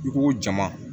I ko jama